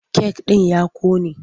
Kek ɗin ya ƙone.